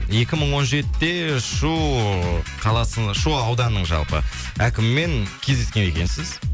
екі мың он жетіде шу қаласы шу ауданының жалпы әкімімен кездескен екенсіз